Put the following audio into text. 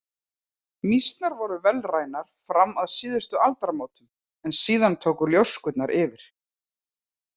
Mýsnar voru vélrænar fram að síðustu aldamótum en síðan tóku ljóskurnar yfir.